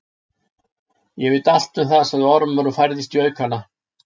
Ég veit allt um það, sagði Ormur og færðist í aukana.